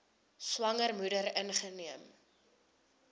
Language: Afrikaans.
swanger moeder ingeneem